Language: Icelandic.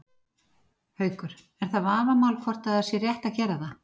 Haukur: Er það vafamál hvort að það sé rétt að gera það?